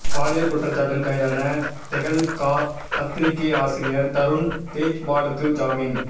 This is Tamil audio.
பாலியல் குற்றச்சாட்டில் கைதான தெஹல்கா பத்திரிகை ஆசிரியர் தருண் தேஜ்பாலுக்கு ஜாமீன்